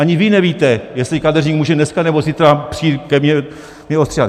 Ani vy nevíte, jestli kadeřník může dneska nebo zítra přijít ke mně mě ostříhat.